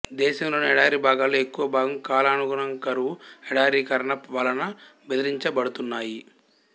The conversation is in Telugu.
దేశంలోని ఎడారి భాగాలలో ఎక్కువ భాగం కాలానుగుణ కరువు ఎడారీకరణ వలన బెదిరించబడుతున్నాయి